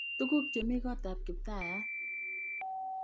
Tuguk chemi kotab kiptayat